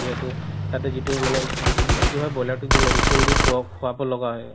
যিহেতু তাতে যিতু মানে কি হয় boiler তোক যি medicine দি খুৱাব লাগা হয়